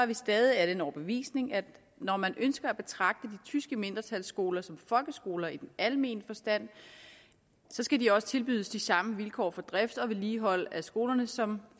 vi stadig af den overbevisning at når man ønsker at betragte de tyske mindretalsskoler som folkeskoler i den almene forstand skal de også tilbydes de samme vilkår for drift og vedligeholdelse af skolerne som